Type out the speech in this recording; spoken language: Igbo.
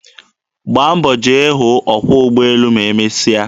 Gbaa mbọ jee hụ ọkwọ ugbọelu ma emesịa.